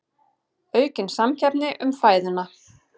Aukin samkeppni um fæðuna